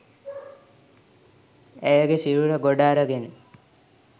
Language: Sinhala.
ඇයගේ සිරුර ගොඩ අරගෙන